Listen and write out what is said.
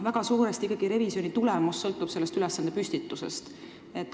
Väga suuresti sõltub revisjoni tulemus ülesande püstitusest.